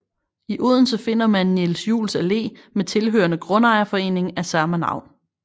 I Odense finder man Niels Juels Allé med tilhørende grundejerforening af samme navn